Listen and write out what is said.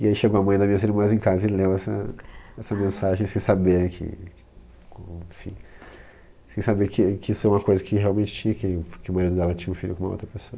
E aí chegou a mãe das minhas irmãs em casa e leu essa essa mensagem sem saber que, enfim, sem saber que que isso é uma coisa que realmente tinha, que que o marido dela tinha um filho com outra pessoa.